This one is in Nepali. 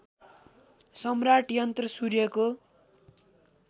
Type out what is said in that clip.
सम्राट यन्त्र सूर्यको